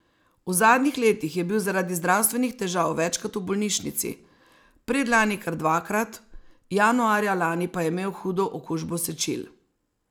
V zadnjih letih je bil zaradi zdravstvenih težav večkrat v bolnišnici, predlani kar dvakrat, januarja lani pa je imel hudo okužbo sečil.